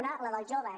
un el dels joves